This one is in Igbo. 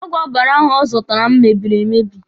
Ọgwụ ọbara ahụ ọ zụtara m mebiri emebi.